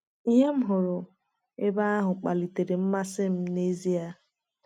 Ihe m m hụrụ ebe ahụ kpalitere mmasị m n’ezie.